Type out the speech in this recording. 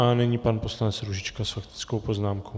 A nyní pan poslanec Růžička s faktickou poznámkou.